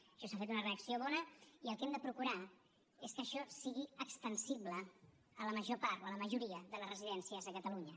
a això s’ha fet una reacció bona i el que hem de procurar és que això sigui extensible a la major part o a la majoria de les residències a catalunya